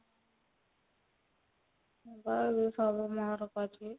ହଁ ବା ଯଉ ସବୁ ଅଛି